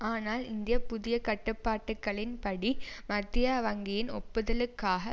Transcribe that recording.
ஆனால் இந்த புதிய கட்டுப்பாடுகளின் படி மத்திய வங்கியின் ஒப்புதலுக்காக